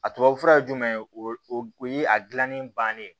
A tubabufura ye jumɛn ye o o ye a gilanni bannen ye